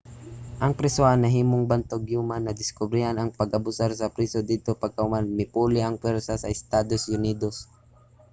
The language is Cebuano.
ang prisohan nahimong bantog human nadiskobrehan ang pag-abusar sa priso didto pagkahuman mipuli ang pwersa sa estados unidos